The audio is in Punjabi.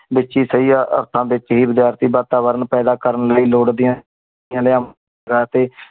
ਬੀਚ ਹੀ ਸਹੀ ਆ ਆ ਆਰਤਾ ਬੀਚ ਹੀ ਬਜਾਰਤੀ ਬਾਤਾਂ ਵੇਰਨ ਪਾਯਦਾ ਕਰਨ ਲੈ ਲੋਆਦ ਦੀਆ ਨਿਲ੍ਯੁਮ ਰਾਤੀ